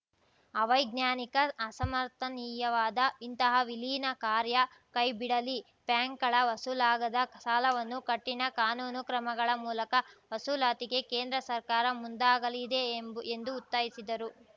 ಅವಿಜ್ಞಾನಿಕ ಅಸಮರ್ಥನೀಯವಾದ ಇಂತಹ ವಿಲೀನ ಕಾರ್ಯ ಕೈಬಿಡಲಿ ಬ್ಯಾಂಕ್‌ಗಳ ವಸೂಲಾಗದ ಸಾಲವನ್ನು ಕಠಿಣ ಕಾನೂನು ಕ್ರಮಗಳ ಮೂಲಕ ವಸೂಲಾತಿಗೆ ಕೇಂದ್ರ ಸರ್ಕಾರ ಮುಂದಾಗಲಿದೆ ಎಂಬ್ ಎಂದು ಒತ್ತಾಯಿಸಿದರು